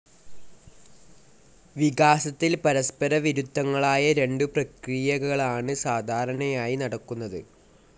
വികാസത്തിൽ പരസ്പരവിരുദ്ധങ്ങളായ രണ്ടു പ്രക്രിയകളാണ് സാധാരണയായി നടക്കുന്നത്.